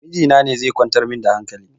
Miji na ne zai kwantar min da hankali?